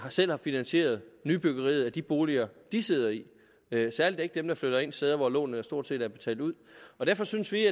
selv har finansieret nybyggeriet af de boliger de sidder i særlig ikke dem der flytter ind steder hvor lånet stort set er betalt ud og derfor synes vi